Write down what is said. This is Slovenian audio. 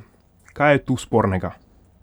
Kaj je tu spornega?